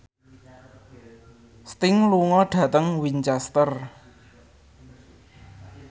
Sting lunga dhateng Winchester